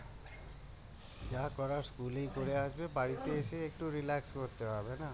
যা করার স্কুলেই করে আসবে বাড়িতে এসে একটু করতে হবে না